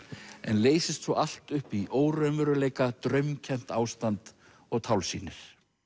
en leysist svo allt upp í óraunveruleika draumkennt ástand og tálsýnir